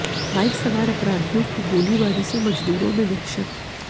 bike सवार अपराधियों की गोलीबारी से मजदूरों में दहशत